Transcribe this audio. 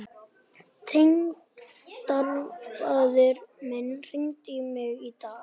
Tengdafaðir minn hringdi í mig í dag.